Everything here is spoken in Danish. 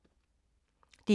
DR2